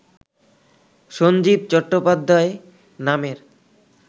সঞ্জীব চট্টোপাধ্যায় নামের